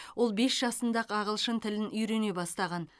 ол бес жасында ақ ағылшын тілін үйрене бастаған